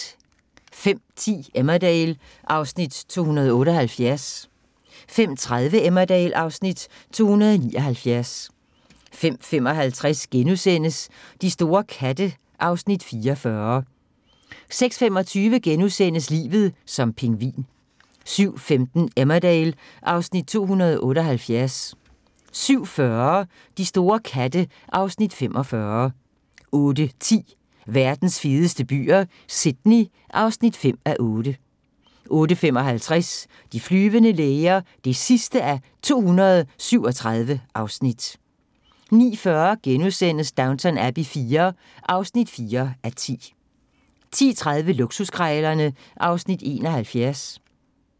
05:10: Emmerdale (Afs. 278) 05:30: Emmerdale (Afs. 279) 05:55: De store katte (Afs. 44)* 06:25: Livet som pingvin * 07:15: Emmerdale (Afs. 278) 07:40: De store katte (Afs. 45) 08:10: Verdens fedeste byer - Sydney (5:8) 08:55: De flyvende læger (237:237) 09:40: Downton Abbey IV (4:10)* 10:30: Luksuskrejlerne (Afs. 71)